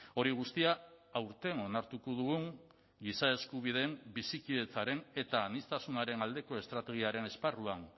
hori guztia aurten onartuko dugun giza eskubideen bizikidetzaren eta aniztasunaren aldeko estrategiaren esparruan